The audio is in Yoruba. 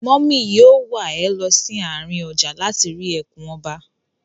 Mọ́mì yóò wà ẹ lọ sí àárín ọjà láti rí ẹkùn ọba.